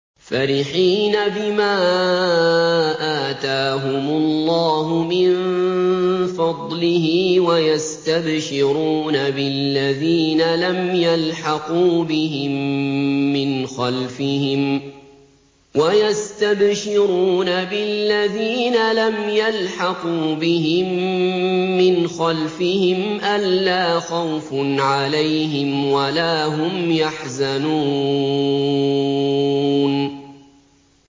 فَرِحِينَ بِمَا آتَاهُمُ اللَّهُ مِن فَضْلِهِ وَيَسْتَبْشِرُونَ بِالَّذِينَ لَمْ يَلْحَقُوا بِهِم مِّنْ خَلْفِهِمْ أَلَّا خَوْفٌ عَلَيْهِمْ وَلَا هُمْ يَحْزَنُونَ